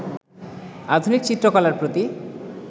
আধুনিক চিত্রকলার প্রতি